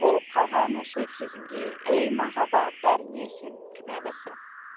болып қалған осы кезімде ей махаббат бәріне сен кінәлісің